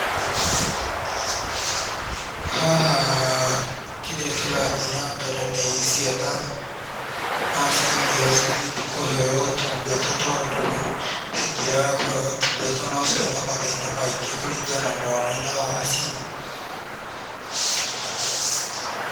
Haha kĩrĩa kĩrathiĩ na mbere nĩ cĩana na aciari ao cithiĩte kũheo ũtungata, tondũ cingĩrega kũheo ũtungata no cione mathĩna maingĩ kũringana na ũnene wacio.